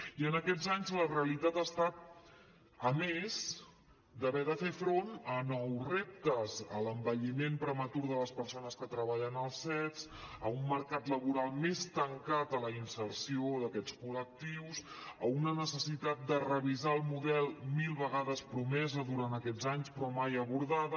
i en aquests anys la realitat ha estat a més d’haver de fer front a nous reptes a l’envelliment prematur de les persones que treballen als cets a un mercat laboral més tancat a la inserció d’aquests col·lectius a una necessitat de revisar el model mil vegades promesa durant aquests anys però mai abordada